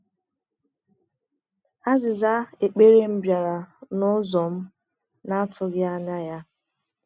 Aziza ekpere m biara n’ụzọ m na - atụghị anya ya.